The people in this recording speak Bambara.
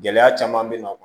Gɛlɛya caman bɛ na